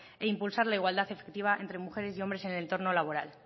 e impulsar la igualdad efectiva entre mujeres y hombre en el entorno laboral